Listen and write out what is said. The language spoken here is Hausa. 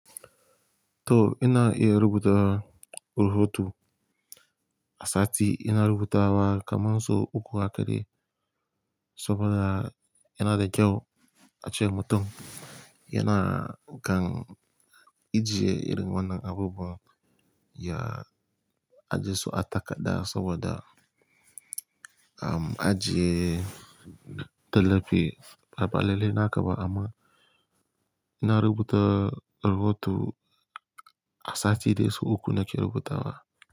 To ina iya rubuta rubutu a sati ina rubuta wa kaman so uku haka dai saboda yana da kyau a ce mutum yana kan ijiye irin wannan abubuwa ya ajiye su a takadda saboda am ajiye talafi ba balale na ka ba amma ina rubuta rubutu a sati dai su uku nake rubuta wa.